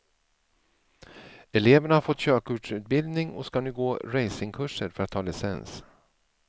Eleverna har fått körkortsutbildning och ska nu gå racingkurser för att ta licens.